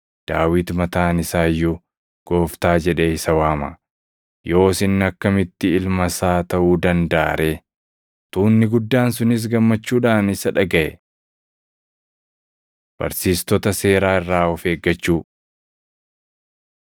Daawit mataan isaa iyyuu ‘Gooftaa’ jedhee isa waama. Yoos inni akkamitti ilma isaa taʼuu dandaʼa ree?” Tuunni guddaan sunis gammachuudhaan isa dhagaʼe. Barsiistota Seeraa Irraa of Eeggachuu